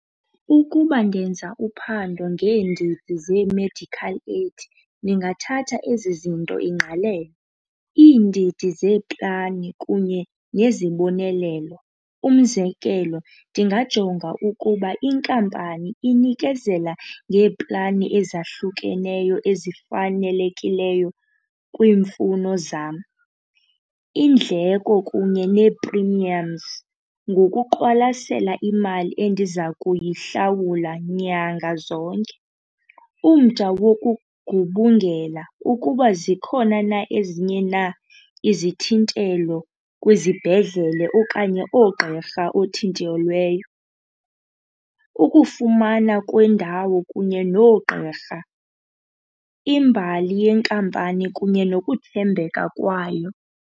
Ukuba ndenza uphando ngeendidi zee-medical aid ndingathatha ezi zinto ingqalelo, iindidi zeeplani kunye nezibonelelo. Umzekelo, ndingajonga ukuba inkampani inikezela ngeeplani ezahlukeneyo ezifanelekileyo kwiimfuno zam. Iindleko kunye nee-premiums ngokuqwalasela imali endiza kuyihlawula nyanga zonke. Umda wokugubungela ukuba zikhona na ezinye na izithintelo kwizibhedlele okanye oogqirha othintelweyo, ukufumana kwendawo kunye noogqirha, imbali yenkampani kunye nokuthembeka kwayo.